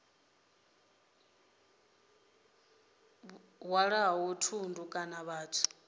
tsho hwalaho thundu kana vhathu